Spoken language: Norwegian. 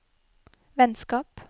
vennskap